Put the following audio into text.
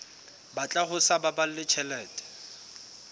batla ho sa baballe tjhelete